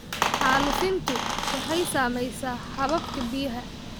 Xaalufintu waxay saamaysaa hababka biyaha.